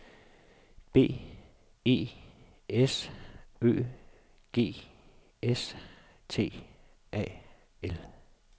B E S Ø G S T A L